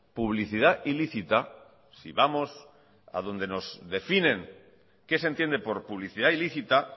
publicidad ilícita si vamos a donde nos definen qué se entiende por publicidad ilícita